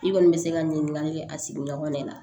I kɔni bɛ se ka ɲininkali kɛ a sigiɲɔgɔn de la